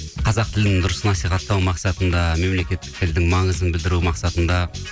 қазақ тілін дұрыс насихаттау мақсатында мемлекеттік тілдің маңызын білдіру мақсатында